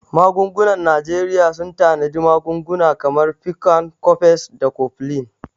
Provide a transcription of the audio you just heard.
Magungunan Najeriya sun tanadi magunguna kamar Piccan, Cofex, da Cofflin.